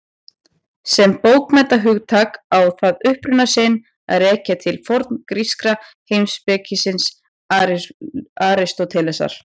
Sem bókmenntahugtak á það uppruna sinn að rekja til forngríska heimspekingsins Aristótelesar.